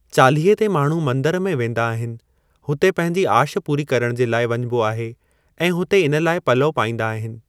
चालीहे ते माण्हू मंदर में वेंदा आहिनि, हुते पंहिंजी आश पूरी करणु जे लाइ वञिबो आहे ऐं हुते इन लाइ पलउ पाईंदा आहिनि।